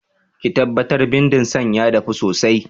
Ki tabbatar bindin san ya dafu sosai!